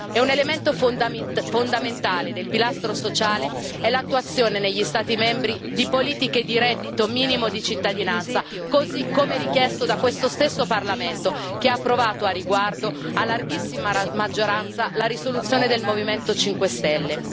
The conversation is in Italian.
E un elemento fondamentale del pilastro sociale è l'attuazione negli Stati membri di politiche di reddito minimo di cittadinanza, così come richiesto da questo stesso Parlamento che ha approvato al riguardo, a larghissima maggioranza, la risoluzione del Movimento 5 Stelle.